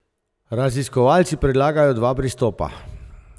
Raziskovalci predlagajo dva pristopa.